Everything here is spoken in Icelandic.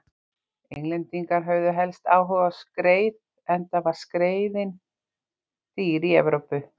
Englendingar höfðu helst áhuga á skreið enda var skreiðin dýr í Evrópu.